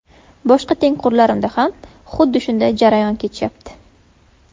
Boshqa tengqurlarimda ham xuddi shunday jarayon kechyapti.